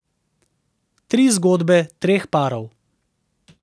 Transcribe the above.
Tri zgodbe treh parov.